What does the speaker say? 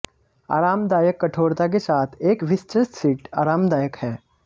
आरामदायक कठोरता के साथ एक विस्तृत सीट आरामदायक है